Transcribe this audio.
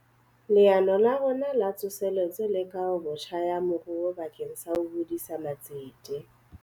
Leano la rona La Tsoseletso le Kahobotjha ya Moruo bakeng sa ho hodisa matsete.